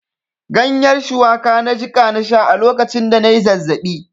Ganyen shuwaka na jiƙa na sha a lokacin da na yi zazzaɓi.